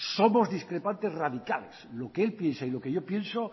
somos discrepantes radicales lo que él piensa y lo que yo pienso